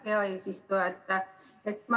Hea eesistuja!